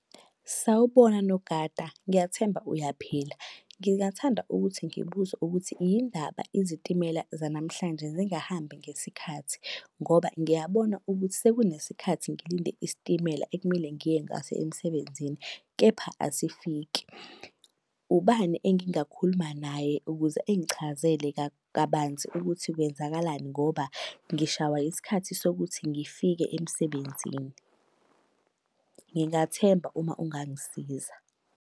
Sawubona, nogada. Ngiyathemba uyaphila. Ngingathanda ukuthi ngibuze ukuthi yini ndaba izitimela zanamuhlanje zingahambi ngesikhathi? Ngoba ngiyabona ukuthi sekunesikhathi ngilinde isitimela ekumele ngiye ngaso emsebenzini, kepha asifiki. Ubani engingakhuluma naye ukuze engichazele kabanzi ukuthi kwenzakalani ngoba ngishawa isikhathi sokuthi ngifike emsebenzini? Ngingathemba uma ungangisiza.